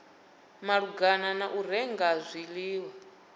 malugana na u renga zwiḽiwa